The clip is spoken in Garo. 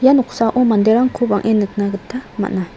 ia noksao manderangko bang·e nikna gita man·a.